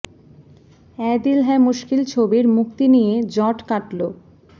অ্যায় দিল হ্যায় মুশকিল ছবির মুক্তি নিয়ে জট কাটল